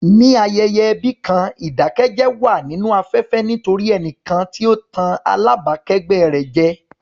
Níbi ayẹyẹ ẹbí kan, ìdákẹ́jẹ́ wà nínú afẹ́fẹ́ nítorí ẹnìkan tí ó ń tàn alábàákẹ́gbẹ́ rẹ̀ jẹ.